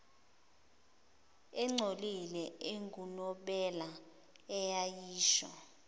engcolile engunobela eyayisho